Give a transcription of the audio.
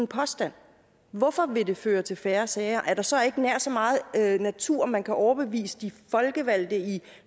påstand hvorfor vil det føre til færre sager er der så ikke nær så meget natur man kan overbevise de folkevalgte i